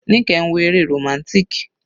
Nike ń wo eré romantic.